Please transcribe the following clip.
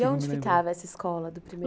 E onde ficava essa escola do primeiro